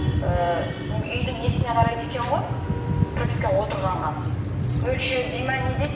ііі үйдің несіне қарайды екен ғой пропискаға отырғанға мөлшері ме не дейді